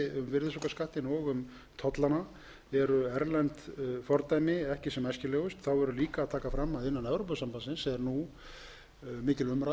virðisaukaskattinn og um tollana eru erlend fordæmi ekki sem æskilegust þá verður líka að taka fram að innan evrópusambandsins er nú mikil umræða um